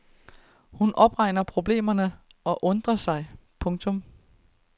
Hun opregner problemerne og undrer sig. punktum